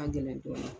A ka gɛlɛn dɔɔnin